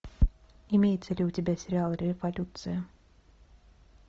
имеется ли у тебя сериал революция